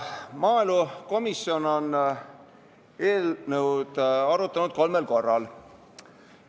Maaelukomisjon on eelnõu arutanud kolmel korral.